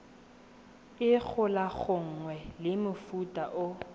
e golaganngwang le mofuta o